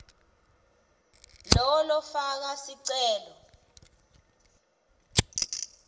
lowo lofaka sicelo